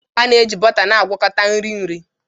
A na-eji bọta na-agwakọta nri nri